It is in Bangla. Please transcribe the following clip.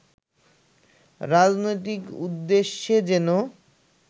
রাজনৈতিক উদ্দেশ্যে যেন